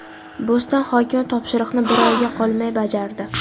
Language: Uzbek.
Bo‘ston hokimi topshiriqni bir oyga qolmay bajardi.